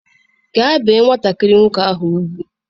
Gaa bee nwatakịrị nwoke a ugwu!